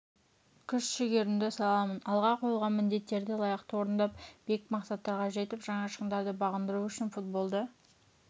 күш-жігерімді саламын алға қойылған міндеттерді лайықты орындап биік мақсаттарға жетіп жаңа шыңдарды бағындыру үшін футболды